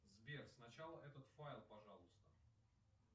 сбер сначала этот файл пожалуйста